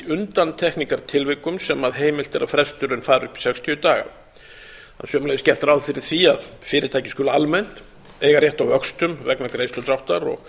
undantekningartilvikum sem heimilt er að fresturinn fari upp í sextíu daga það er sömuleiðis gert ráð fyrir því að fyrirtæki skuli almennt eiga rétt á vöxtum vegna greiðsludráttar og